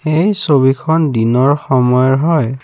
এই ছবিখন দিনৰ সময়ৰ হয়।